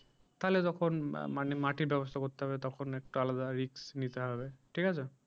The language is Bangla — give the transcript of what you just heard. তাহলে তখন মানে মাটির ব্যবস্থা করতে হবে তখন একটু আলাদা risk নিতে হবে ঠিক আছে।